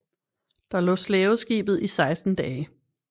Der lå slaveskibet i 16 dage